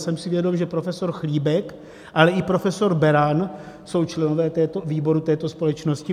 Jsem si vědom, že profesor Chlíbek, ale i profesor Beran jsou členové výboru této společnosti.